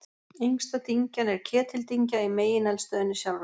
Yngsta dyngjan er Ketildyngja í megineldstöðinni sjálfri.